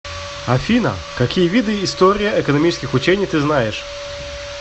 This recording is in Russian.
афина какие виды история экономических учений ты знаешь